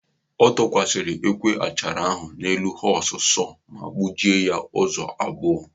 O dokwasara ekwe achara ahụ n'elu họọs sọọ ma gbujie ya ụzọ abụọ.